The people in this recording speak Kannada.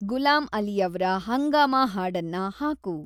ಗುಲಾಂ ಅಲಿಯವ್ರ ಹಂಗಾಮಾ ಹಾಡನ್ನ ಹಾಕು